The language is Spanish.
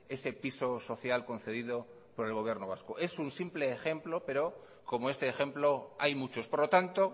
ese piso social concedido por el gobierno vasco es un simple ejemplo pero como este ejemplo hay muchos por lo tanto